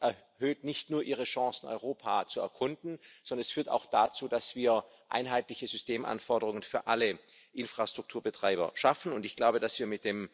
Das erhöht nicht nur ihre Chancen, Europa zu erkunden, sondern führt auch dazu, dass wir einheitliche Systemanforderungen für alle Infrastrukturbetreiber schaffen, und ich glaube, dass wir mit dem